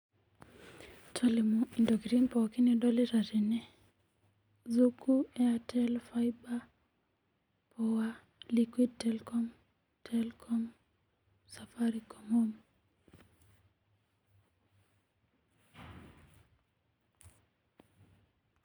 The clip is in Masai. Tolimu intokiting pooki nidolite tene zuku airtel faiba poa liquid Tekom safaricom home